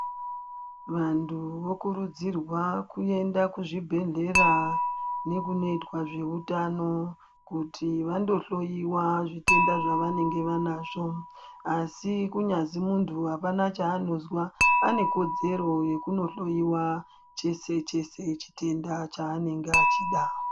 Vantu vokurudzirwa kuenda kuzvibhedhlera nekunoitwa zvehutano kuti vandohloiwa zvitenda zvavanenge vanazvo. Asi kunyazi muntu hapana chaanozwa anekodzero yekunohloiwa chese-chese chitenda chaanenge achida.